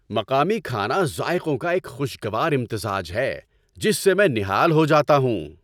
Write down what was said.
مقامی کھانا ذائقوں کا ایک خوشگوار امتزاج ہے جس سے میں نہال ہو جاتا ہوں۔